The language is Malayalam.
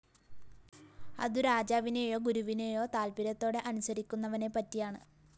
അതു രാജാവിനെയോ ഗുരുവിനെയോ താത്പര്യത്തോടെ അനുസരിക്കുന്നവനെപ്പറ്റിയാണ്